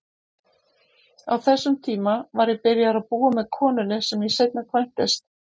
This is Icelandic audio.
Á þessum tíma var ég byrjaður að búa með konunni sem ég seinna kvæntist.